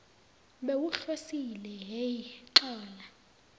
bewuhlosile hheyi xola